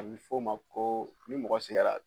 A bɛ f'o ma ko ni mɔgɔ sɛgɛra